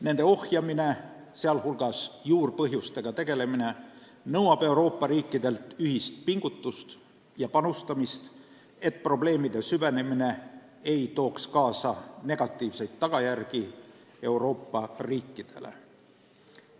Nende ohjamine, sealhulgas juurpõhjustega tegelemine nõuab Euroopa riikidelt ühist pingutust ja panustamist, et probleemide süvenemine ei tooks kaasa negatiivseid tagajärgi Euroopa riikidele.